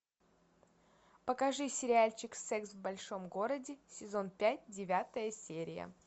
покажи сериальчик секс в большом городе сезон пять девятая серия